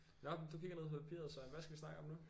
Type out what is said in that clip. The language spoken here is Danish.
Nå men du kigger ned på papiret Søren hvad skal vi snakke om nu